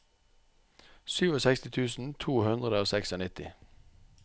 sekstisju tusen to hundre og nittiseks